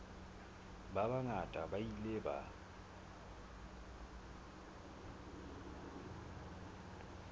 ba bangata ba ile ba